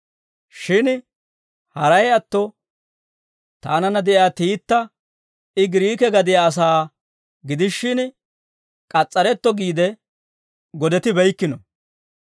Shin haray atto taananna de'iyaa Tiita I Giriike gadiyaa asaa gidishin, k'as's'aretto giide godetibeykkino.